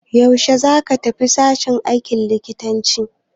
Yaushe za ka tafi sashen aikin likitanci?